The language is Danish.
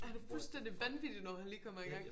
Ja det fuldstændig vanvittigt når han lige kommer i gang